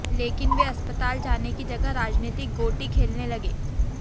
लेकिन वे अस्पताल जाने की जगह राजनीतिक गोंटी खेलने लगे